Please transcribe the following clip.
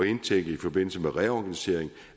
indtænke i forbindelse med reorganisering